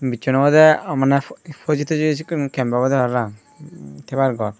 bichon obode amne fhoji toji sekkin camp obode parapang thebar ghor.